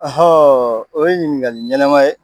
o ye ɲiningali ɲɛnama ye